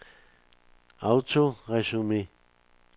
autoresume